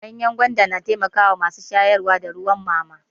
Ganyan gwanda yana taimakon masu shayarwa da ruwan mama.